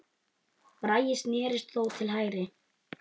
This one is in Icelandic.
Bragi snérist þó til hægri.